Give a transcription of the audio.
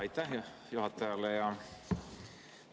Aitäh juhatajale!